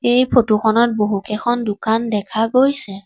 এই ফটো খনত বহুকেইখন দোকান দেখা গৈছে।